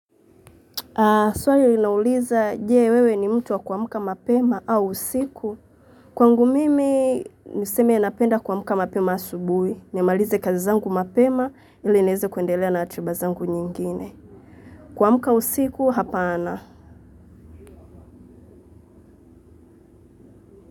Aaah swali linauliza je wewe ni mtu wa kuamka mapema au usiku. Kwangu mimi niseme ya napenda kuamka mapema asubuhi. Nimalize kazi zangu mapema ili niweze kuendelea na ratiba zangu nyingine. Kuamka usiku hapana.